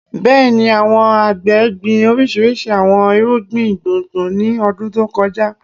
Bẹẹni, awọn agbe gbin oriṣiriṣi awọn irugbin gbongbo ni ọdun to kọja